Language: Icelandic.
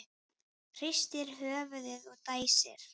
Hristir höfuðið og dæsir.